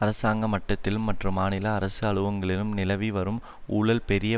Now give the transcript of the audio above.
அரசாங்க மட்டத்திலும் மற்றும் மாநில அரசு அலுவலகங்களிலும் நிலவி வரும் ஊழல் பெரிய